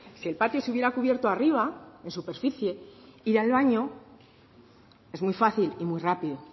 si el patio se hubiera cubierto arriba en superficie ir al baño es muy fácil y muy rápido